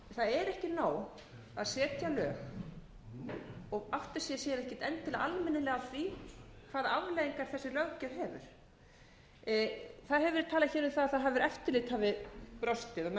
ekki nóg að setja lög og átti sig síðan ekkert almennilega á því hvaða afleiðingar þessi löggjöf hefur það hefur verið talað hér um það að eftirlit hafi brostið og menn hafi